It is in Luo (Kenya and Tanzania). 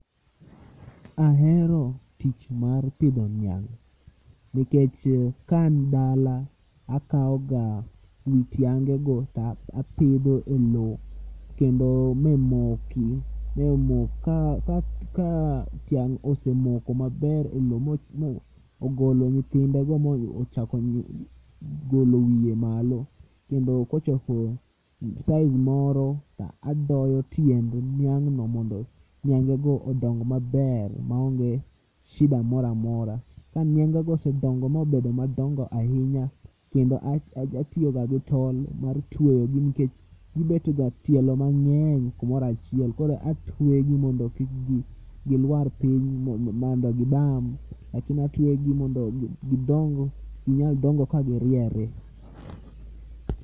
Ahero tich mar pidho niang' nikech ka an dala akawoga wi tiangego to apidho e lo kendo mamoki ka tiang' osemoko maber e lo mogolo nyithindego mochako golo wiye malo, kendo kochopo size moro tadoyo tiend niang'no mondo niangego odong maber maonge shida moro amora. Ka niangego osedongo mobedo madongo ahinya kendo atiyoga gi tol mar tweyogi nkech gibetga tielo mang'eny kumoro achiel koro atwegi mondo kik gilwar piny mondo gibam lakini atwegi mondo ginyal dongo ka giriere.